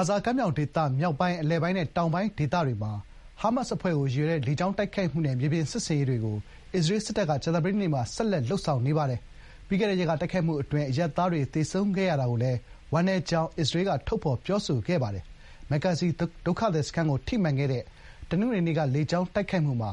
ါဇာကမ်းမြောင်ဒေသ မြောက်ပိုင်း၊ အလယ်ပိုင်းနဲ့ တောင်ပိုင်းဒေသတွေမှာ ဟားမတ်စ်အဖွဲ့ကို ရည်ရွယ်တဲ့ လေကြောင်းတိုက်ခိုက်မှုနဲ့ မြေပြင်စစ်ဆင်ရေးတွေကို အစ္စရေးစစ်တပ်က ကြာသပတေးနေ့မှာလည်း ဆက်လက် လုပ်ဆောင်နေပါတယ်။ ပြီးခဲ့တဲ့ရက်က တိုက်ခိုက်မှုအတွင်း အရပ်သားတွေသေဆုံးခဲ့ရတာကိုလည်း ဝမ်းနည်းကြောင်း အစ္စရေးက ထုတ်ဖော်ပြောဆိုခဲ့ပါတယ်။ မက်ဂါဇီဒုက္ခသည်စခန်းကို ထိမှန်ခဲ့တဲ့ တနင်္ဂနွေနေ့က လေကြောင်းတိုက်ခိုက်မှုမှာ